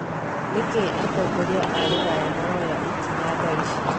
Nikii atongoria aa rũraya maraoya ikinya thaici?